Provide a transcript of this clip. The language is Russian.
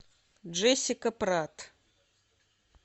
джессика пратт